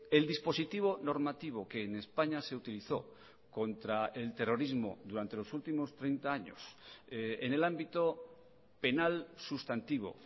el dispositivo normativo que en españa se utilizó contra el terrorismo durante los últimos treinta años en el ámbito penal sustantivo